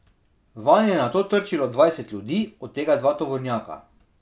Vanj je nato trčilo dvajset ljudi, od tega dva tovornjaka.